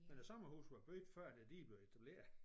Men æ sommerhuse var bygget før at æ dige blev etableret